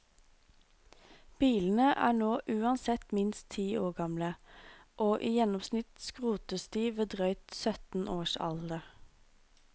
Bilene er nå uansett minst ti år gamle, og i gjennomsnitt skrotes de ved drøyt sytten års alder.